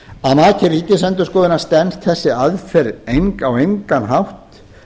að mati ríkisendurskoðunar stenst þessi aðferð á engan hátt